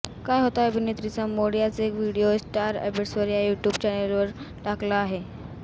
काय होता अभिनेत्रींचा मूड याचा एक व्हिडिओ स्टार अँबेसेडर या यूट्यूब चॅनलने टाकला आहे